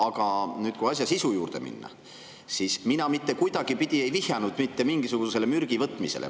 Aga nüüd, kui asja sisu juurde minna, siis mina mitte kuidagipidi ei vihjanud mitte mingisugusele mürgi võtmisele.